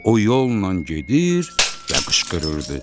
O yolla gedir və qışqırırdı: